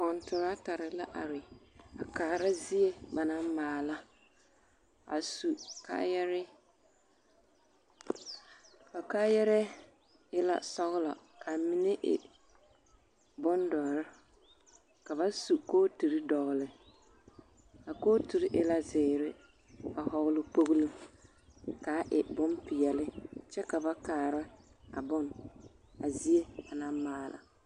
Kɔntoratare la are a kaara zie ba naŋ maala a su kaayare a kaayarɛɛ e la sɔgelɔ ka mine e bondɔre ka ba su kooturi dɔgele, a kooturi e la zeere, a hɔgɔle kpogilo k'a e bompeɛle kyɛ ka ba kaara a bone a zie banaŋ maala.